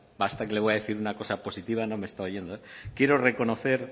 basta que le voy a decir una cosa positiva no me está oyendo quiero reconocer